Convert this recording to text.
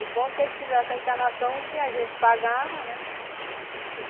O bom é que eles fizessem a encanação que a gente pagava, né?